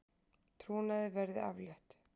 Trúnaði verði aflétt